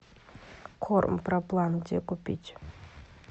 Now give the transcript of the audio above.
корм проплан где купить